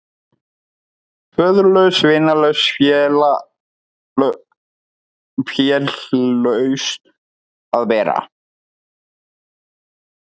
Föðurlaus, vinalaus, félaus að vera.